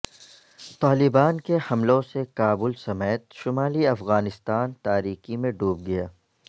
طالبان کے حملوں سے کابل سمیت شمالی افغانستان تاریکی میں ڈوب گیا